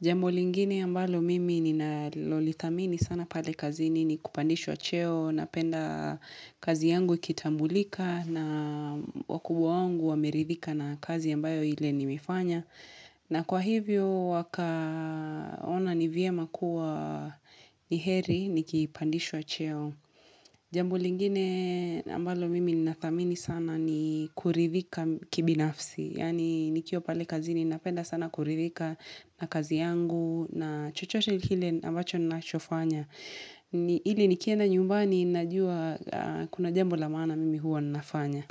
Jambo lingine ambayo mimi na lolitamini sana pale kazini ni kupandishwa cheo Napenda kazi yangu ikitambulika na wakubwa wangu wameridhika na kazi yambayo ile nimifanya na kwa hivyo wakaona ni vye makuwa ni heri, nikipandishwa cheo. Jambu lingine ambalo mimi nathamini sana ni kuridhika kibinafsi. Yani nikio pale kazi ni napenda sana kuridhika na kazi yangu na chochote kile ambacho ninaachofanya. Hili nikienda nyumbani najua kuna jambu lamana mimi huwa ninafanya.